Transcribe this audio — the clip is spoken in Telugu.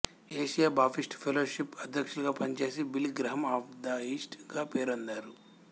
ఏషియా బాప్టిష్టు ఫెలోషిప్కు అధ్యక్షులుగా పనిచేసి బిల్లీగ్రెహం అఫ్ ద ఈస్ట్ గా పేరొందారు